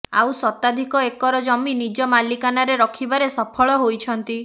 ଆଉ ଶତାଧିକ ଏକର ଜମି ନିଜ ମାଲିକାନାରେ ରଖିବାରେ ସଫଳ େହାଇଛନ୍ତି